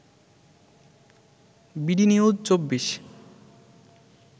B D news ২৪